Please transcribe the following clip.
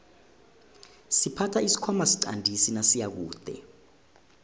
siphatha isikhwana siqandisi nasiyakude